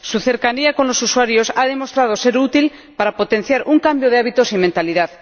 Su cercanía con los usuarios ha demostrado ser útil para potenciar un cambio de hábitos y mentalidad.